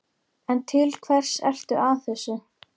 En til hvers ertu að þessu?